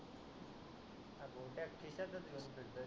गोट्या खिशातस घेऊन फिरतोय